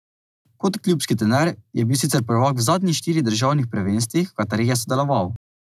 Kot klubski trener je bil sicer prvak v zadnjih štirih državnih prvenstvih, v katerih je sodeloval.